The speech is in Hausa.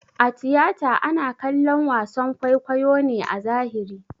A tiyata ana kallon wason kwaikwayo ne a zahiri